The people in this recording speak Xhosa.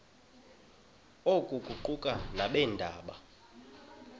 oku kuquka nabeendaba